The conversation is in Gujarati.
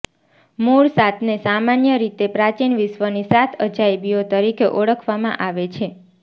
મૂળ સાતને સામાન્ય રીતે પ્રાચીન વિશ્વની સાત અજાયબીઓ તરીકે ઓળખવામાં આવે છે